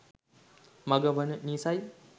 මග වන නිසයි.